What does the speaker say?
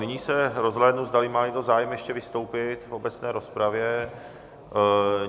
Nyní se rozhlédnu, zdali má někdo zájem ještě vystoupit v obecné rozpravě.